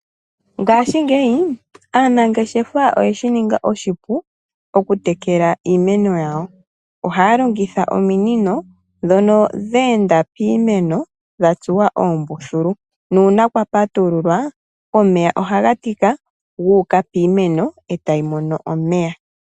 Ngashi ngeyi ,anangeshefa oye shininga oshipu, oku tekela iimeno yawo, ohalongotha oominino dhono dhenda piimeno dhatsuwa oombuthulu, nuuna kwapatululwa omeya ohagatika guuka piimeno etayi mono omeya.